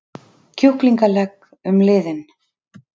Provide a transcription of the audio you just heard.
kjúklingalegg um liðinn.